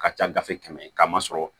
Ka ca gafe kɛmɛ ye k'a masɔrɔ